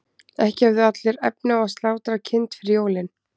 ekki höfðu allir efni á að slátra kind fyrir jólin